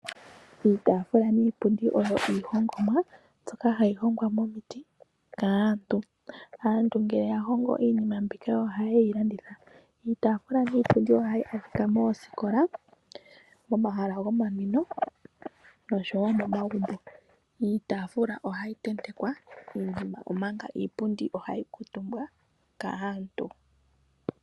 Iitafula niipundi oyo iihongomwa mbyoka hayi hongwa momiti kaantu. Aantu ngele ya hongo iinima mbika ohaye yi landitha. Iitafula niipundi ohayi adhika moositola, momahala gomaninwo noshowo momagumbo. Iitafula ohayi tentekwa iinima omanga iipundi ohayi kuutumbwa kaantu.